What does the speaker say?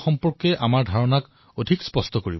এই অভিযানে চন্দ্ৰৰ বিষয়ে আমাৰ জ্ঞান অধিক স্পষ্ট কৰিব